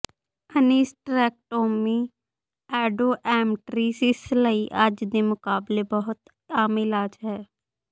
ਅਨੀਸਟਰੇਕਟੋਮੀ endometriosis ਲਈ ਅੱਜ ਦੇ ਮੁਕਾਬਲੇ ਬਹੁਤ ਆਮ ਇਲਾਜ ਹੈ